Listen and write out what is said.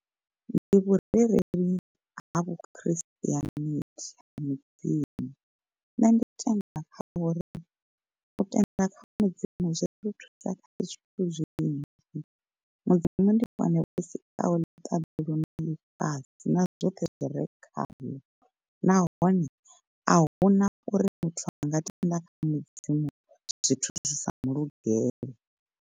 Ndi vhurereli ha vhu christianity ha mudzimu, nṋe ndi tenda kha uri u tenda kha mudzimu zwi ri thusa kha zwithu zwinzhi. Mudzimu ndi vhone vho sikaho ḽiṱaḓulu na ḽifhasi na zwoṱhe zwi re khaḽo, nahone ahuna uri muthu anga tenda kha mudzimu zwithu zwi sa mulugele.